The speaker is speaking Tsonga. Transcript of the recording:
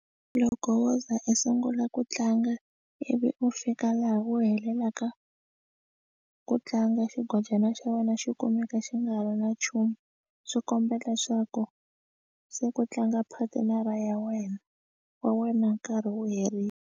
Loko wo ze u sungula ku tlanga ivi u fika laha u helelaka ku tlanga xigolonyana xa wena xi kumeka xi nga ha ri na nchumu swi kombela leswaku se ku tlanga paternal ra ya wena wa wena nkarhi wu herile.